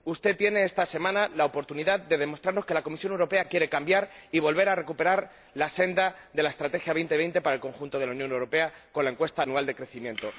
Usted tiene esta semana la oportunidad de demostrarnos que la Comisión Europea quiere cambiar y volver a recuperar la senda de la Estrategia Europa 2020 para el conjunto de la Unión Europea con el estudio anual sobre el crecimiento.